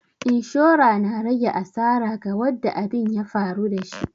Inshora na rage asara ga wadda abin ya faru da shi.